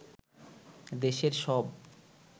দেশের সব